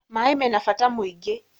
Maĩ mena bata mwĩingĩ